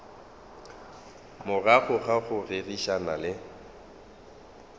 morago ga go rerišana le